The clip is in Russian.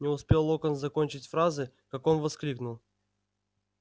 не успел локонс закончить фразы как он воскликнул